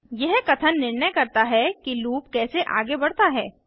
यह कथन निर्णय करता है कि लूप कैसे आगे बढ़ता है